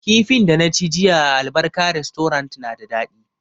Kifin da na ci jiya a albarka restorant na da daɗi